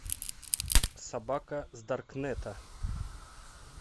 собака с даркнета